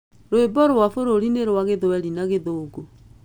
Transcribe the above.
Rwĩmbo rwa bũrũri nĩ rwa Gĩthweri na Gĩthũngũ.